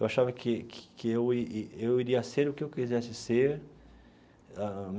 Eu achava que que eu eu iria ser o que eu quisesse ser ah.